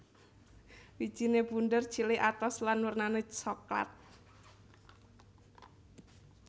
Wijine bunder cilik atos lan wernane soklat